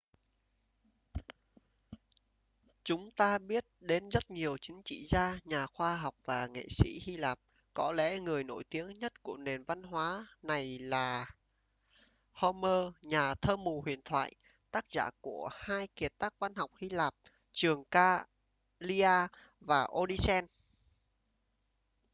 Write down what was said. chúng ta biết đến rất nhiều chính trị gia nhà khoa học và nghệ sĩ hy lạp có lẽ người nổi tiếng nhất của nền văn hóa này là homer nhà thơ mù huyền thoại tác giả của hai kiệt tác văn học hy lạp trường ca iliad và odyssey